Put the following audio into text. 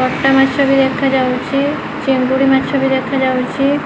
କଟା ମାଛ ଭି ଦେଖାଯାଉଛି ଚିଙ୍ଗୁଡ଼ି ମାଛ ବି ଦେଖାଯାଉଛି।